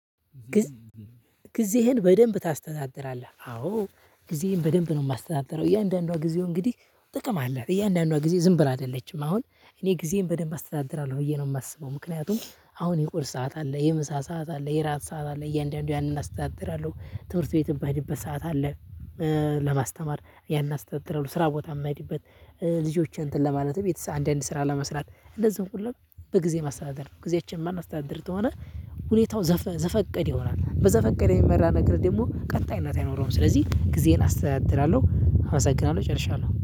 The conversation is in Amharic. ጊዜዬን በደንብ ታስተዳድራለህ? አዎ ጊዜዬን በደንብ ነው የማስተዳድረው እያንዳንዷ ጊዜው እንግዲህ ጥቅም አላት እያንዳንዷ ጊዜ ዝም ብላ አይደለችም አሁን እኔ ጊዜን በደንብ አስተዳድራለሁ ብዬ ነው የማስበው ምክንያቱም አሁን የቁርስ ሰዓት አለ የምሳ ሰዓት አለ የራት ሰዓት አለ እያንዳንዱ ያንን አስተዳድራለሁ። ትምህርት ቤትም ምሄድበት ሰዓት አለ። ለማስተማር ያን አስቀጥረው ስራ ቦታ የማይሄድበት ልጆች እንትን ለማለትም ቤት አንድ አንድ ስራ ለመስራት እንዝህን ሁሉ በግዜ ማስተዳደር ነው። ጊዜያችን ማስተዳደር ተሆነ። ሁኔታው ዘፈቀደ ይሆናል በዘፈቀደ የሚመራ ነገር ደግሞ ቀጣይነት አይኖረውም። ስለዚህ ጊዜዬን አስተዳድራለሁ አመሰግናለሁ እጨርሻለሁ